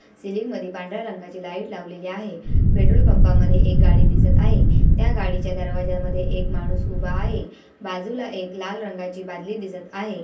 सिलिन्ग मधी पांढऱ्या रंगाची लाईट लावलेली आहे पेट्रोल पंपा मध्ये एक गाडी दिसत आहे त्या गाडीच्या दरवाजामध्ये एक माणूस उभा आहे बाजुला एक लाल रंगाची बादली दिसत आहे.